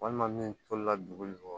Walima min tolila dugu